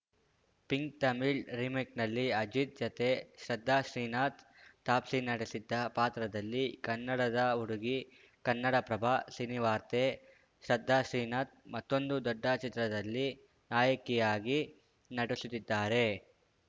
pink Tamil ರಿಮೇಕ್‌ನಲ್ಲಿ ಅಜಿತ್‌ ಜತೆ ಶ್ರದ್ಧಾ ಶ್ರೀನಾಥ್‌ ತಾಪ್ಸಿ ನಟಿಸಿದ್ದ ಪಾತ್ರದಲ್ಲಿ ಕನ್ನಡದ ಹುಡುಗಿ ಕನ್ನಡಪ್ರಭ ಸಿನಿವಾರ್ತೆ ಶ್ರದ್ಧಾ ಶ್ರೀನಾಥ್‌ ಮತ್ತೊಂದು ದೊಡ್ಡ ಚಿತ್ರದಲ್ಲಿ ನಾಯಕಿಯಾಗಿ ನಟಿಸುತ್ತಿದ್ದಾರೆ